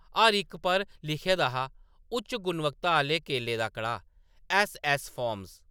हर इक पर लिखे दा हा-- “उच्च गुणवत्ता आह्‌‌‌ले केलें दा कड़ाह्‌‌, ऐस्स.ऐस्स फार्म्स ।